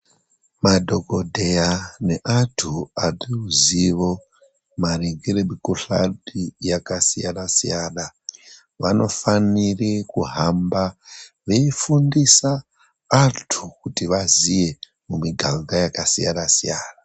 Madhokodheya neantu aneruzivo maringe nemikhuhlani yakasiyana siyana, vanofanire kuhamba veifundisa antu kuti vaziye mumiganga yakasiyana siyana.